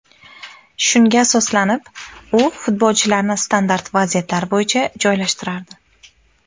Shunga asoslanib, u futbolchilarni standart vaziyatlar bo‘yicha joylashtirardi.